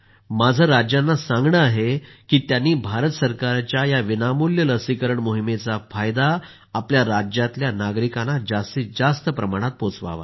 माझा राज्यांना आग्रह आहे की त्यांनी भारत सरकारच्या या विनामूल्य लसीकरण मोहिमेचा फायदा आपल्या राज्यातील नागरिकांना जास्तीत जास्त प्रमाणात पोहचवावा